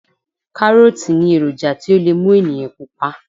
Kárọ́ọ̀tì ní èròjà tí ó lè mú ènìyàn pupa